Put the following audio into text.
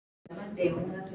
Við erum bara hjól.